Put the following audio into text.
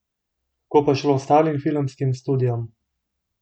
Kako pa je šlo ostalim filmskim studiom?